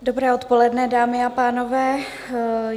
Dobré odpoledne, dámy a pánové.